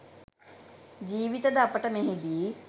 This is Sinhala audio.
ජීවිතද අපට මෙහිදී